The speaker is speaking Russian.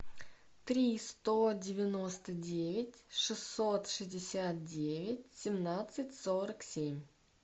три сто девяносто девять шестьсот шестьдесят девять семнадцать сорок семь